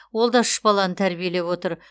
ол да үш баланы тәрбиелеп отыр